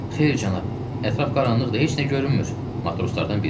Xeyr, cənab, ətraf qaranlıqdır, heç nə görünmür,